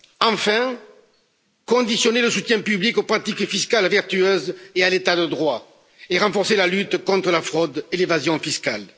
Enfin, il faudra conditionner le soutien public aux pratiques fiscales vertueuses et à l'état de droit, et renforcer la lutte contre la fraude et l'évasion fiscales.